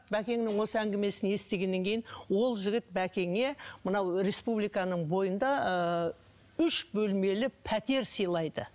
бәкеңнің осы әңгімесін естігеннен кейін ол жігіт бәкеңе мынау республиканың бойында ыыы үш бөлмелі пәтер сыйлайды